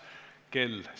Suur tänu kõigile!